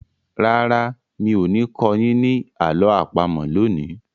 Rárá, mi ò ní kọ́ yín ní àlọ́ àpamọ̀ lónìí.